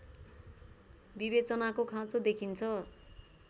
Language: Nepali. विवेचनाको खाँचो देखिन्छ